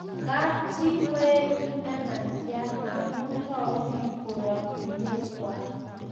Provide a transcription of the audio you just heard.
Kapchii koetu nematia amu tau piik koratinwek kwai